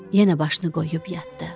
Yenə başını qoyub yatdı.